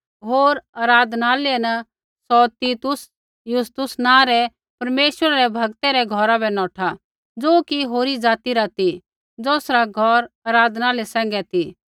होर आराधनालय न सौ तीतुस यूस्तुस नाँ रै परमेश्वरै रै भगतै रै घौरा बै नौठा ज़ो कि होरी जाति रा ती ज़ौसरा घौर आराधनालय सैंघै ती